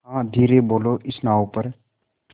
हाँ धीरे बोलो इस नाव पर